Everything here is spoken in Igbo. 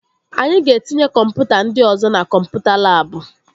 Anyị ga-etinye kọmputa ndị ọzọ na kọmputa labụ